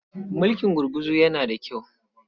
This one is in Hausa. Mulkin gurguzu yana da kyau.